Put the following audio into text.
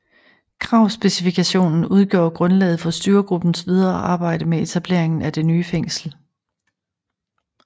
Kravspecifikationen udgjorde grundlaget for styregruppens videre arbejde med etableringen af det nye fængsel